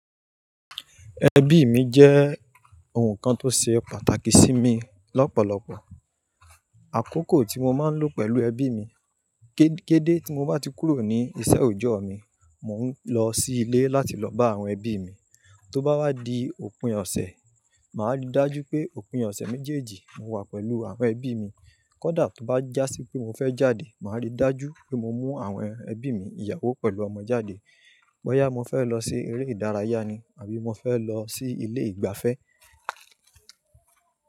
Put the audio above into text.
Ẹbí mi jẹ́ ohun kan tó ṣe pàtàkì sí mi lọ́pọ̀lọpọ̀. Àkókò tí mo máa ń lò pẹ̀lú ẹbí mi. Ké-kédé tí mo bá ti kúrò ní iṣẹ́ òòjọ́ mi, mò ń lọ sí ilé láti lọ bá àwọn ẹbí mi. Tó bá wá di òpin ọ̀sẹ̀, màá rí dájú pé òpin ọ̀sẹ̀ méjèèjì mo wà pẹ̀lú àwọn ẹbí mi. Kódà tó bá jásí pé mo fẹ́ jáde, màá rí dájú pé mo mú àwọn ẹbí mi, ìyàwó pẹ̀lú ọmọ jáde. Bọ́yá mo fẹ́ lọ sí eré ìdárayá ni àbí mo fẹ́ lọ sí ilé ìgbafẹ́.